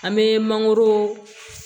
An bɛ mangoro